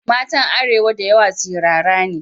Matan arewa da yawa sirara ne.